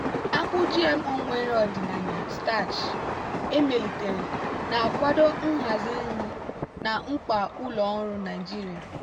akpu gmo nwere ọdịnaya starch emelitere na-akwado nhazi nri na mkpa ụlọ ọrụ nigeria.